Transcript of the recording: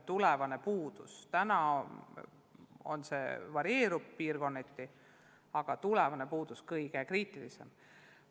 Täna see puudujääk varieerub piirkonniti, aga tulevane puudus on kõige kriitilisem.